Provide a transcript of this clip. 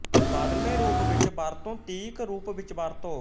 ਬਦਲਵੇਂ ਰੂਪ ਵਿਚ ਵਰਤੋਂ ਤੀਕ ਰੂਪ ਵਿਚ ਵਰਤੋਂ